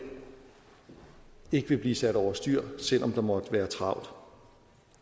ikke vil blive sat over styr selv om der måtte være travlt